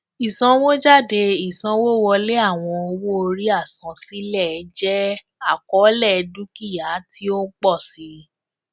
ìsanwójádé ìsanwówọlé àwọn owóorí àsansílẹ jẹ àkọlé dukia ti o ń pọ si